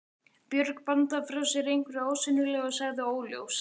Björg bandaði frá sér einhverju ósýnilegu og sagði: Óljóst.